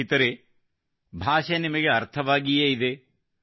ಸ್ನೇಹಿತರೇ ಭಾಷೆ ನಿಮಗೆ ಅರ್ಥವಾಗಿಯೇ ಇದೆ